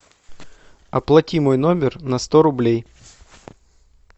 оплати мой номер на сто рублей